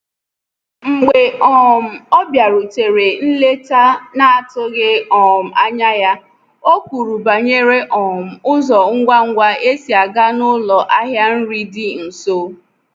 Mgbe um ọ bịarutere nleta n’atụghi um anya ya, o kwuru banyere um ụzọ ngwa ngwa esi agaa n'ụlọ ahịa nri dị nso.